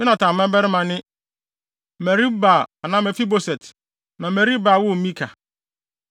Yonatan babarima ne: Merib-Baal (anaa Mefiboset) na Merib-Baal woo Mika.